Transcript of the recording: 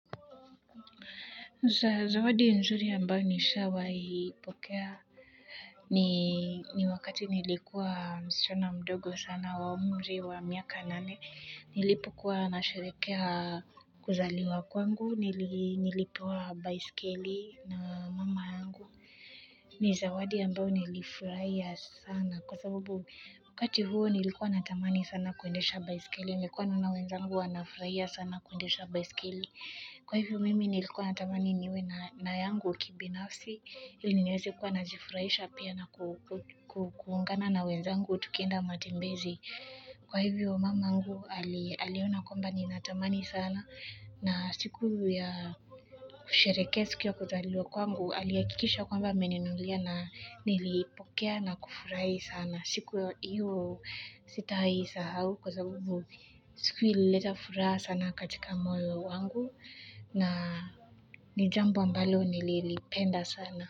Juhudi nzuri ambayo nishawaipokea ni wakati nilikuwa msichana mdogo sana wa umri wa miaka nane nilipokuwa nasherehekea kuzaliwa kwangu, nilipewa baiskeli na mama yangu ni zawadi ambayo nilifurahia sana. Kwa sababu wakati huo nilikuwa natamani sana kuendesha baiskeli. Nilikuwa na wenzangu anafurahia sana kuendesha baiskeli. Kwa hivyo mimi nilikuwa natamani niwe na yangu kibinafsi, ili niweze kuwa najifurahisha pia na kuungana na wenzangu tukienda matembezi. Kwa hivyo mamangu aliona kwamba ninatamani sana na siku ya kusherehekea siku ya kuzaliwa kwangu, alihakikisha kwamba ameninunulia na niliipokea na kufurahi sana. Siku hiyo sitawahi isahau kwa sababu siku hiyo ilileta furaha sana katika moyo wangu na ni jambo ambalo nililipenda sana.